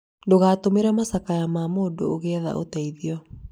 ndũgatũmĩre macakaya ma mũndũ ũgĩetha ũteithio